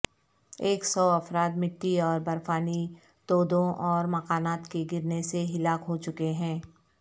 ایک سو افراد مٹی اور برفانی تودوں اور مکانات کے گرنے سے ہلاک ہوچکے ہیں